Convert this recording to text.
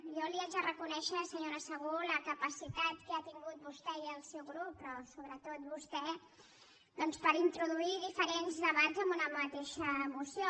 jo li haig de reconèixer senyora segú la capacitat que ha tingut vostè i el seu grup però sobretot vostè doncs per introduir diferents debats en una mateixa moció